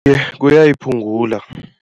Iye, kuyayiphungula.